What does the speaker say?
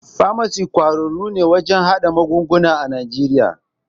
Famasis ƙwararru ne wajen magunguna a Najeriya.